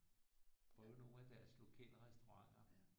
Prøve nogle af deres lokale restauranter